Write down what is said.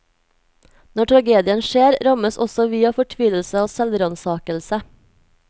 Når tragedien skjer, rammes også vi av fortvilelse og selvransakelse.